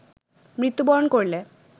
মৃত্যুবরণ করলে